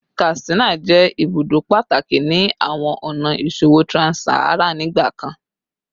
Katsina jẹ ibudo pataki ni awọn ọna iṣowo trans-Saharan nigbakan